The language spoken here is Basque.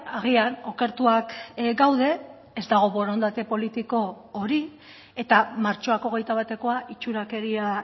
agian okertuak gaude ez dago borondate politiko hori eta martxoak hogeita batekoa itxurakeria